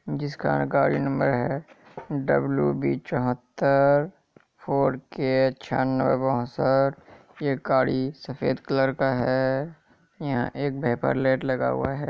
जिसका गाड़ी नंबर है डब्ल्यू बी चौहत्तर फॉर के ये गाड़ी सफेद कलर का है यहां एक भाइपर लाइट लगा हुआ है।